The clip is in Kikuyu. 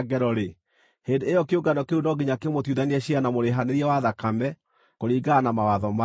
hĩndĩ ĩyo kĩũngano kĩu no nginya kĩmũtuithanie ciira na mũrĩhanĩria wa thakame kũringana na mawatho maya.